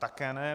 Také ne.